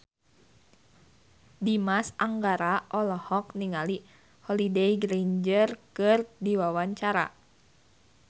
Dimas Anggara olohok ningali Holliday Grainger keur diwawancara